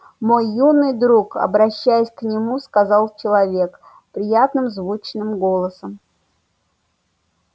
мой юный друг обращаясь к нему сказал человек приятным звучным голосом